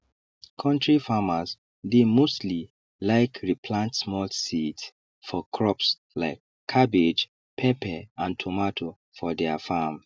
kontri farmers dey mostly like re plant small seeds for crops like cabbage pepper and tomato for deir farm